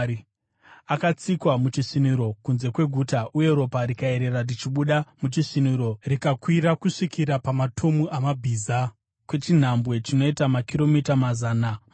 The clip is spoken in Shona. Akatsikwa muchisviniro, kunze kweguta, uye ropa rikayerera richibuda muchisviniro rikakwira kusvikira pamatomu amabhiza kwechinhambwe chinoita makiromita mazana matatu.